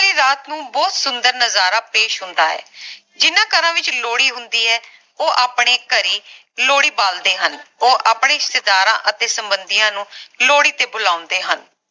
ਵਾਲੀ ਰਾਤ ਨੂੰ ਬਹੁਤ ਸੁੰਦਰ ਨਜਾਰਾ ਪੇਸ਼ ਹੁੰਦਾ ਹੈ ਜਿੰਨਾ ਘਰਾਂ ਵਿਚ ਲੋਹੜੀ ਹੁੰਦੀ ਹੈ ਉਹ ਆਪਣੇ ਘਰੇ ਲੋਹੜੀ ਬਾਲਦੇ ਹਨ ਉਹ ਆਪਣੇ ਰਿਸ਼ਤੇਦਾਰਾਂ ਅਤੇ ਸੰਬੰਧੀਆਂ ਨੂੰ ਲੋਹੜੀ ਤੇ ਬੁਲਾਉਂਦੇ ਹਨ